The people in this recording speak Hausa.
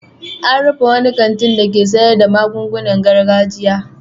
An rufe wani kanti dake sayar da magungunan gargajiya.